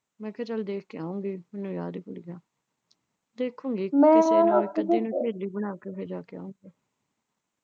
ਮੈਂ ਕਿਹਾ ਚੱਲ ਦੇਖ ਕੇ ਆਵਾਂਗੇ . ਦੇਖੂੰਗੀ ਇੱਕ ਅੱਧੀ ਜਾਣੀ ਸਹੇਲੀ ਬਣਾਕੇ ਫਿਰ ਜਾ ਕੇ ਆਉਂ।